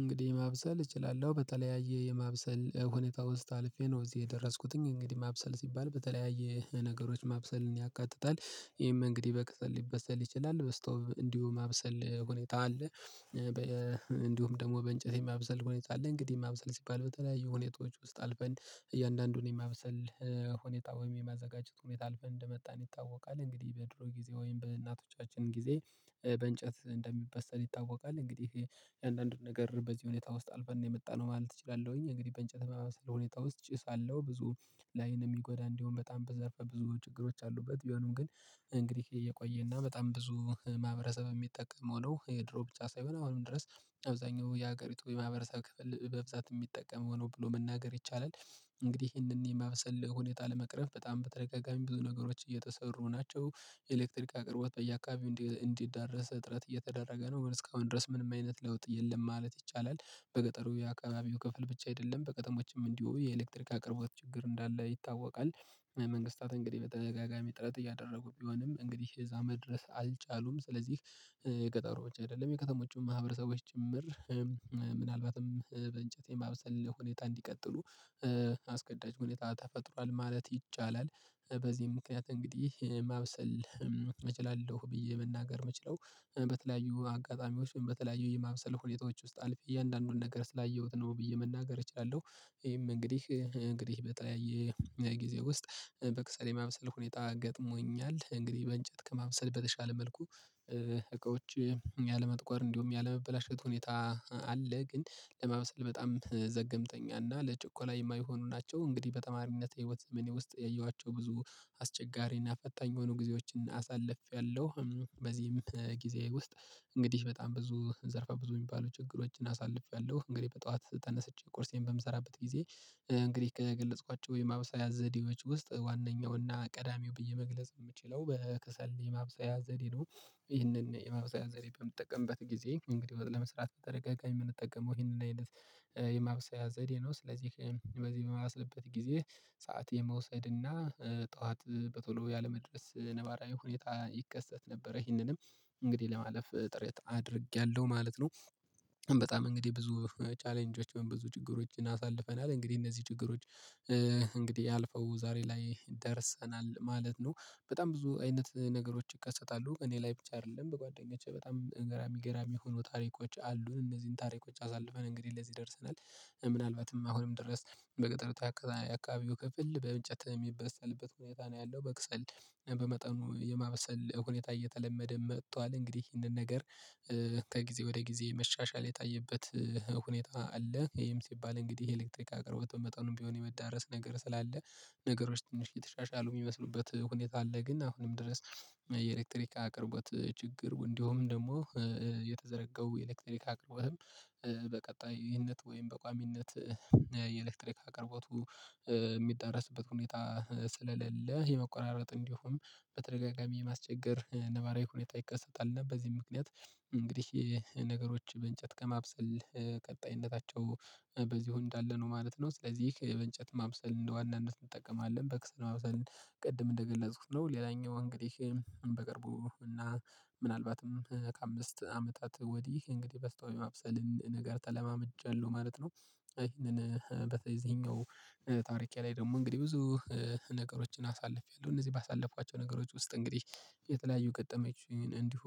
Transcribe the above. እንግዲህ ማብሰል እችላለሁ በተለያየ የማብሰል ሁኔታ ውስጥ አልፌ ነው እዚህ የደረስኩትም እንግዲህ ማብሰል ሲባል በተለያየ ነገሮች ማብሰልን ያካትታል ይሄም እንግዲህ በቅጽል ሊበሰል ይችላል በስተውም እንዲሁ ማብሰል ሁኔታ አለ። እንዲሁም ደግሞ በእንጨቴ የማብሰል ሁኔታ አለ እንግዲህ ማብሰል ሲባል በተለያዩ ሁኔታዎች ውስጥ አልፈን እያንዳንዱን የማብሰል ሁኔታ ወይም የማዘጋጀት ሁኔታ አልፈን እንደመጣን ይታወቃል። እንግዲህ በድሮ ጊዜ ወይም በእናቶቻችን ጊዜ በእንጨት እንደሚበሰል ይታወቃል። እንግዲህ የአንዳንድ ነገር በዚህ ሁኔታ ውስጥ አልፈን ነው የመጣነው ማለት እችላለሁኝ። እንግዲህ በእንጨት መሃል ስለሆነ ሁኔታ ውስጥ ጭሳለሁ ብዙ ላይን የሚጎዳ እንዲሁም በጣም በዘርፈ ብዙ ችግሮች አሉበት ቢሆንም ግን እንግዲህ እየቆየና በጣም ብዙ ማህበረሰብ የሚጠቀም ሆኖ የድሮ ብቻ ሳይሆን አሁንም ድረስ አብዛኛው የሀገሪቱ የማህበረሰብ ክፍል በብዛት የሚጠቀም ሆኖ ብሎ መናገር ይቻላል። እንግዲህ ይሄንን የማበሰል ሁኔታ ለመቅረፍ በጣም በተደጋጋሚ ብዙ ነገሮች እየተሰሩ ናቸው። የኤሌክትሪክ አቅርቦት በየአካባቢው እንዲዳረስ እጥረት እየተደረገ ነው እስካሁን ድረስ ምንም አይነት ለውጥ የለም ማለት ይቻላል። በገጠሩ የአካባቢው ክፍል ብቻ አይደለም በቀጣዮችም እንዲሁ የኤሌክትሪክ አቅርቦት ችግር እንዳለ ይታወቃል። መንግስታት እንግዲህ በተደጋጋሚ ጥረት እያደረጉ ቢሆንም እንግዲህ የዛመድ ድረስ አልቻሉም። ስለዚህ የገጠሮ ብቻ አይደለም የከተሞችም ማህበረሰቦች ጭምር ምናልባትም በእንጨት ማብሰል ሁኔታ እንዲቀጥሉ አስገዳጅ ሁኔታ ተፈጥሯል ማለት ይቻላል። በዚህ ምክንያት እንግዲህ ማብሰል እችላለሁ ብዬ መናገር የምችለው በተለያዩ አጋጣሚዎች በተለያዩ የማብሰል ሁኔታዎች ውስጥ አልፌ እያንዳንዱን ነገር ስላየሁት ነው ብዬ መናገር እችላለሁ። ይሄም እንግዲህ እንግዲህ በተለያየ የጊዜ ውስጥ በቅጽበት የማብሰል ሁኔታ ገጥሞኛል እንግዲህ በእንጨት ከማምሰልበት የሻለ መልኩ እቃዎች ያለመጥቆር እንዲሁም ያለመበላሸት ሁኔታ አለ። ግን ለማብሰል በጣም ዘገምተኛ እና ለችኮላ የማይሆኑ ናቸው። እንግዲህ በተማሪነት የህይወት ዘመኔ ውስጥ ያየኋቸው ብዙ አስቸጋሪና ፈጣኝ የሆኑ ጊዜዎችን አሳልፌያለሁ። በዚህም ጊዜ ውስጥ እንግዲህ በጣም ብዙ ዘርፋ ብዙ የሚባሉ ችግሮችን አሳልፌያለሁ እንግዲህ በጠዋት ተነስቼ ቁርሴን በምሰራበት ጊዜ እንግዲህ ከገለጽኳቸው የማብሰሪያ ዘዴዎች ውስጥ ዋናኛውና ቀዳሚው ብዬ መግለጽ የምችለው በከሰል የማብሰያ ዘዴ ነው። ይህንን የማብሰያ ዘሬ በምትጠቀምበት ጊዜ እንግዲህ ወጥ ለመስራት በተደጋጋሚ የምንጠቀመው ይህንን አይነት የማብሰያ ዘዴ ነው። ስለዚህ በዚህ የማበስልበት ጊዜ ሰዓት የመውሰድ እና ጠዋት በቶሎ ያለመድረስ ነባራዊ ሁኔታ ይከሰት ነበረ ይህንንም እንግዲህ ለማለፍ ጥሬት አድርጌያለሁ ማለት ነው። በጣም እንግዲህ ብዙ ቻሌንጆች በብዙ ችግሮችን አሳልፈናል እንግዲህ እነዚህ ችግሮች እንግዲህ አልፈው ዛሬ ላይ ደርሰናል ማለት ነው። በጣም ብዙ አይነት ነገሮች ይከሰታሉ እኔ ላይ ብቻ አይደለም በጓደኞቼ በጣም ገራሚ ገራሚ የሆኑ ታሪኮች አሉን እነዚህን ታሪኮች አሳልፈን እንግዲህ ለዚህ ደርሰናል። ምናልባትም አሁንም ድረስ በቅጥርታ አከባቢው ክፍል በእንጨት የሚበሰልበት ሁኔታ ነው ያለው በቅሰል በመጠኑ የማብሰል ሁኔታ እየተለመደ መጥቷል። እንግዲህ ይህንን ነገር ከጊዜ ወደ ጊዜ መሻሻል የታየበት ሁኔታ አለ። ይሄም ሲባል እንግዲህ ይሄ ኤሌክትሪክ አቅርቦት በመጠኑ ቢሆን የመዳረስ ነገር ስላለ ነገሮች ትንሽ የተሻሻሉ የሚመስሉበት ሁኔታ አለ። ግን አሁንም ድረስ የኤሌክትሪክ አቅርቦት ችግር እንዲሁም ደግሞ የተዘረጋው የኤሌክትሪክ አቅርበህም በቀጣይነት ወይም በቋሚነት የኤሌክትሪክ አቅርቦቱ የሚደረስበት ሁኔታ ስለሌለ የመቆራረጥ እንዲሁም በተደጋጋሚ የማስቸገር ነባራዊ ሁኔታ ይከሰታል እና በዚህ ምክንያት እንግዲህ ነገሮች በእንጨት ከማብሰል ቀጣይነታቸው በዚህ ሁኔታ እንዳለ ነው ማለት ነው። ስለዚህ የእንጨት ማብሰል እንደ ዋናነት እንጠቀማለን በክስል ማብሰል ቅድም እንደገለጽኩት ነው። ሌላኛው እንግዲህ በቅርቡ እና ምናልባትም ከአምስት አመታት ወዲህ እንግዲህ በስተውን ማብሰል ነገር ተለማምጨለሁ ማለት ነው። ይሄንን በተይዘኛው ታሪኬ ላይ ደግሞ እንግዲህ ብዙ ነገሮችን አሳልፌያለሁ እነዚህ ባሳለፍኳቸው ነገሮች ውስጥ እንግዲህ የተለያዩ ገጠመችኝ እንዲሁ